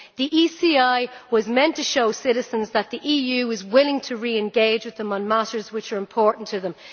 The ECI was meant to show citizens that the EU is willing to re engage with them on matters which are important to them.